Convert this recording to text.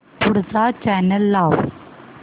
पुढचा चॅनल लाव